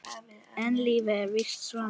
En lífið er víst svona.